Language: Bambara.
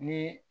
Ni